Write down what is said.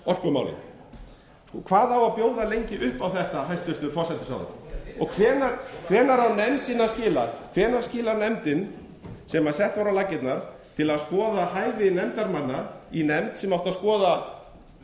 nefna orkumálin hvað á að bjóða lengi upp á þetta hæstvirtur forsætisráðherra hvenær skilar nefndin sem sett var á laggirnar til að skoða hæfi nefndarmanna í nefnd sem átti að skoða